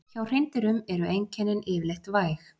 Hjá hreindýrum eru einkennin yfirleitt væg.